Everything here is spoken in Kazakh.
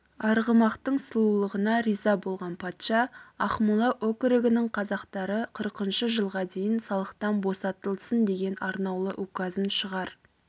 арғымақтың сұлулығына риза болған патша ақмола өкірігінің қазақтары қырқыншы жылға дейін салықтан босатылсын деген арнаулы указын шығар